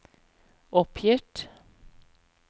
oppgitt